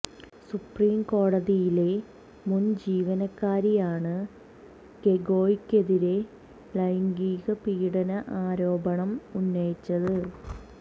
supreme കോടതിയിലെ മുൻ ജീവനക്കാരിയാണ് ഗൊഗോയ്ക്കെതിരെ ലൈംഗിക പീഡന ആരോപണം ഉന്നയിച്ചത്